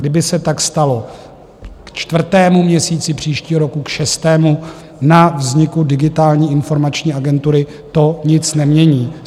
Kdyby se tak stalo k čtvrtému měsíci příštího roku, k šestému, na vzniku Digitální informační agentury to nic nemění.